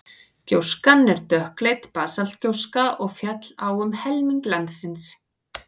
gjóskan er dökkleit basaltgjóska og féll á um helming landsins